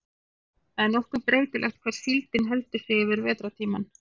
það er nokkuð breytilegt hvar síldin heldur sig yfir vetrartímann